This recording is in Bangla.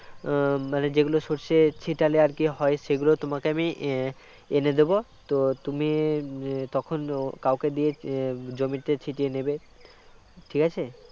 মানে যেগুলো সর্ষে ছিটালে আর কী হয় সেগুলো তোমাকে আমি এনে দেব তো তুমি তখন কাউকে দিয়ে জমিতে ছিটিয়ে নেবে ঠিক আছে